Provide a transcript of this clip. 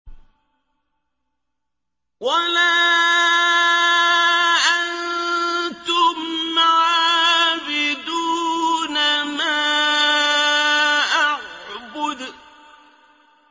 وَلَا أَنتُمْ عَابِدُونَ مَا أَعْبُدُ